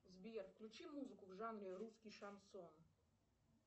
сбер включи музыку в жанре русский шансон